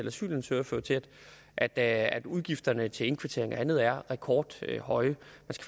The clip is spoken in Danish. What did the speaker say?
asylansøgere fører til at at udgifterne til indkvartering og andet er rekordhøje